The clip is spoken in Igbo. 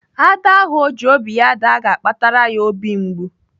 Ada ahụ ọ ji obi ya daa ga-akpatara ya obi mgbu.